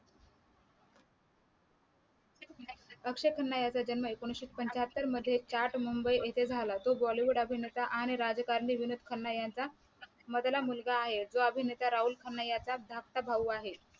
अक्षय खन्ना याचा जन्म एकोनाविशे पंचाहत्तर रोजी चाट मुंबई येथे झाला तो bollywood अभिनेता आणि राजकारणी विनोद खन्ना यांचा मधला मुलगा आहे व राहुल खन्ना याचा धाकटा भाऊ आहे.